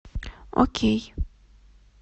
окей